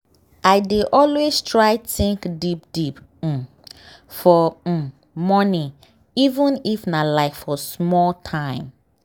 i dey always try think deep deep um for um morning even if nah like for small time.